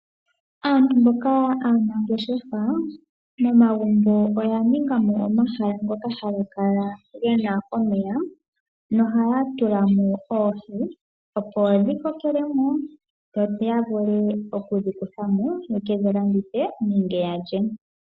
Aantu mboka aanangeshefa, momagumbo oya ningamo omahala ngoka haga kala gena omeya noha ya tulamo oohi. Opo dhi kokelemo yo yavule okudhi kuthamo, yekedhi landithe nenge yalye.